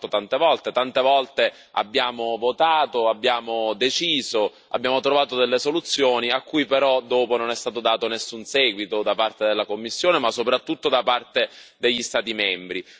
L'abbiamo fatto tante volte, tante volte abbiamo votato, abbiamo deciso, abbiamo trovato delle soluzioni a cui però dopo non è stato dato nessun seguito da parte della Commissione, ma soprattutto da parte degli Stati membri.